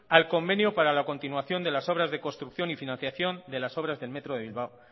al convenio para la continuación de las obras de construcción y financiación de las obras del metro de bilbao